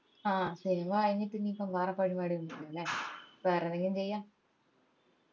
ആഹ് cinema കയിഞ്ഞിട്ട് ഇനീപ്പോ വേറെ പരിപാടി ഒന്നും ഇല്ലല്ലേ വേറെ എന്തെങ്കിലും ചെയ്യാ